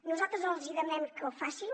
nosaltres els hi demanem que ho facin